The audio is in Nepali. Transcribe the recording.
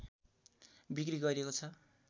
बिक्री गरिएको छ